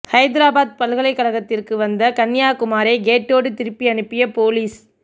ஹைதராபாத் பல்கலைக்கழகத்திற்கு வந்த கன்யா குமாரை கேட்டோடு திருப்பி அனுப்பிய போலீஸ்